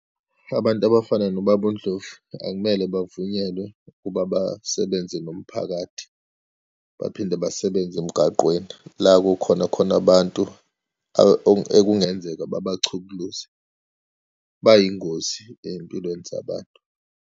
Abantu abafana noBaba uNdlovu akumele bavunyelwe ukuba basebenze nomphakathi, baphinde basebenze emgaqweni, la kukhona khona abantu ekungenzeka babachukuluze, bayingozi eyimpilweni zabantu.